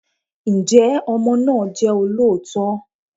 Ǹjẹ́ ọmọ náà jẹ́ olóòótọ́?